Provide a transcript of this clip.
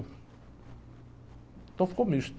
Então ficou misto.